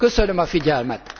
Köszönöm a figyelmet.